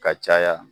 Ka caya